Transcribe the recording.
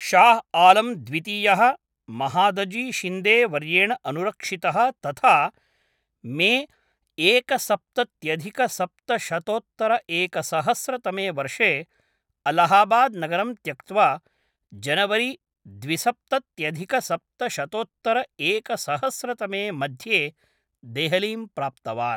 शाह् आलम् द्वितीयः महादजी शिन्दे वर्येण अनुरक्षितः तथा मे एकसप्तत्यधिकसप्तशतोत्तरएकसहस्रतमे वर्षे अल्लाहाबाद् नगरं त्यक्त्वा जनवरी द्विसप्तत्यधिकसप्तशतोत्तरएकसहस्रतमे मध्ये देहलीं प्राप्तवान्।